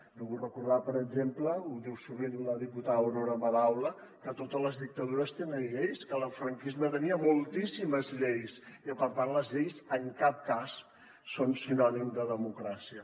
jo vull recordar per exemple ho diu sovint la diputada aurora madaula que totes les dictadures tenen lleis que la del franquisme tenia moltíssimes lleis i per tant les lleis en cap cas són sinònim de democràcia